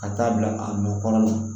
Ka taa bila a nɔ kɔnɔ